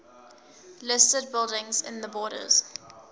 listed buildings in the borders